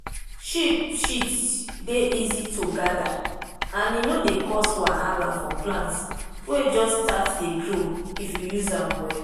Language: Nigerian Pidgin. sheep shit dey easy to gather and e no dey cause wahala for plant wey just start dey grow if you use am well.